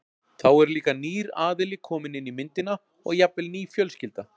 Þá er líka nýr aðili kominn inn í myndina og jafnvel ný fjölskylda.